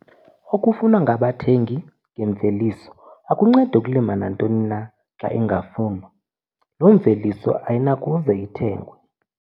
Okufunwa ngabathengi ngemveliso - akuncedi ukulima nantoni xa ingafunwa, loo mveliso ayinakuze ithengwe.